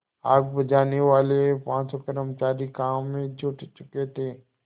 आग बुझानेवाले पाँचों कर्मचारी काम में जुट चुके थे